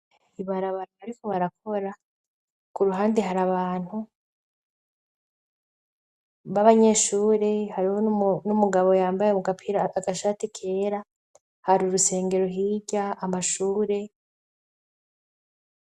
Ibarabara bariko barakora, k'uruhande hari abantu b'abanyeshuri ,hariho n'umugabo yambaye mu gapira agashati kera, hari urusengero hirya amashure.